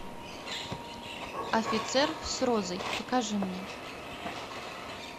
офицер с розой покажи мне